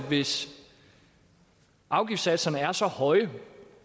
hvis afgiftssatserne er så høje